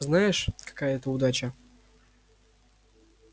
знаешь какая это удача